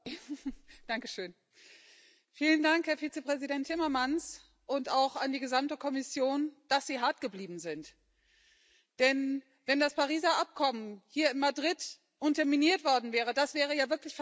Frau Präsidentin! Vielen Dank, Herr Vizepräsident Timmermans und auch an die gesamte Kommission, dass Sie hart geblieben sind. Denn wenn das Pariser Abkommen hier in Madrid unterminiert worden wäre, das wäre ja wirklich fatal gewesen.